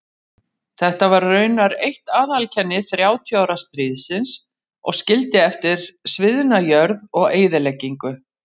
Þetta varð raunar eitt aðaleinkenni þrjátíu ára stríðsins og skildi eftir sviðna jörð og eyðileggingu.